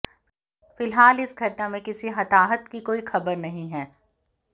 फिलहाल इस घटना में किसी के हताहत की कोई खबर नहीं है